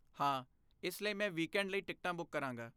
ਹਾਂ, ਇਸ ਲਈ ਮੈਂ ਵੀਕੈਂਡ ਲਈ ਟਿਕਟਾਂ ਬੁੱਕ ਕਰਾਂਗਾ।